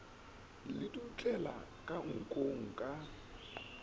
le dutlela ka nkong ka